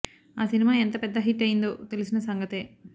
ఆ సినిమా ఎంత పెద్ద హిట్ అయిందో తెలిసిన సంగతే